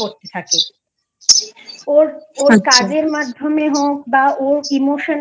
পড়তে থাকে আচ্ছা ওর কাজের মাঝখানে হোক বা ওর Emotionally